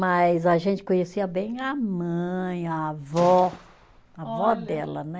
Mas a gente conhecia bem a mãe, a avó, avó dela, né?